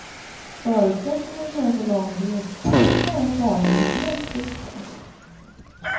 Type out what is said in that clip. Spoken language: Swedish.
Förutsättningen för en så lång resa är att barnen är helt friska.